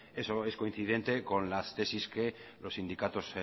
eso es coincidente con las tesis que los sindicatos